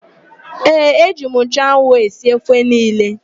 Ee, eji m nchụanwụ esi ofe niile.